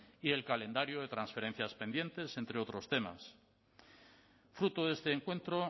y el calendario de trasferencias pendientes entre otros temas fruto de este encuentro